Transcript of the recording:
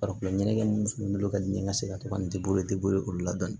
Farikolo ɲɛnajɛ munnu bolo ka di n ka se ka to ka nin olu la dɔni dɔni